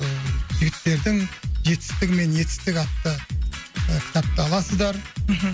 ы жігіттердің жетістігі мен етістігі атты ы кітапты аласыздар мхм